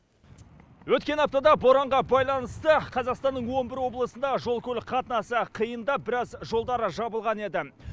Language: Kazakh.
өткен аптада боранға байланысты қазақстанның он бір облысында жол көлік қатынасы қиындап біраз жолдар жабылған еді